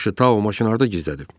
Yaxşı, Tao maşını harda gizlədib?